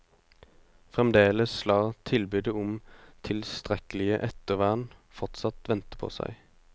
Fremdeles lar tilbudet om tilstrekkelig ettervern fortsatt vente på seg.